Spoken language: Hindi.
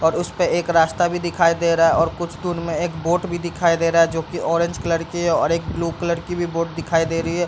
और उसपे एक रास्ता भी दिखाई दे रहा है और कुछ दूर में एक बोट भी दिखाई दे रहा है जो की ऑरेंज कलर की है और एक ब्लू कलर की भी बोट दिखाई दे रही है।